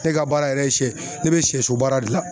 Ne ka baara yɛrɛ ye sɛ, ne be sɛso baara de la